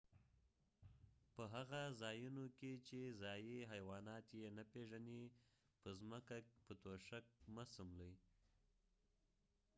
په هغه ځایونو کې چې ځایي حیوانات یې نه پیژنې په ځمکه په توشک مه څملئ